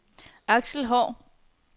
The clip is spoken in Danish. Aksel Haahr